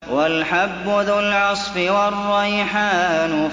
وَالْحَبُّ ذُو الْعَصْفِ وَالرَّيْحَانُ